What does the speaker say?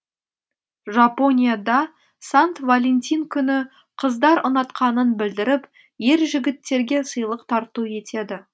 жапонияда сант валентин күні қыздар ұнатқанын білдіріп ер жігіттерге сыйлық тарту етеді